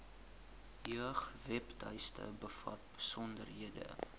jeugwebtuiste bevat besonderhede